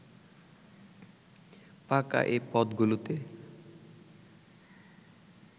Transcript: ফাঁকা এ পদগুলোতে